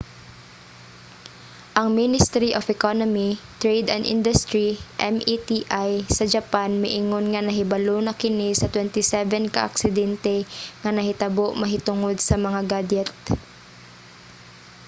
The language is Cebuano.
ang ministry of economy trade and industry meti sa japan miingon nga nahibalo na kini sa 27 ka aksidente nga nahitabo mahitungod sa mga gadyet